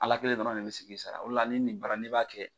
Ala kelen dɔrɔn ne bɛ se k'i sara o le la ni nin bara in n'i b'a kɛ